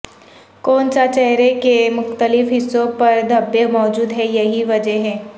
کون سا چہرے کے مختلف حصوں پر دھبے موجود ہیں یہی وجہ ہے